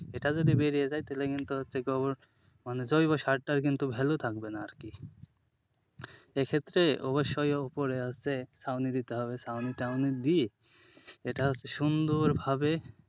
এটা যদি বেরিয়ে যায় তাহলে কিন্তু হচ্ছে গোবর মানে জৈবসার টার কিন্তু value থাকবে না আরকি এক্ষেত্রে অবশ্যই ওপরে আগে ছাউনি দিতে হবে। ছাউনি টাউনি দিয়ে এটা হচ্ছে সুন্দরভাবে,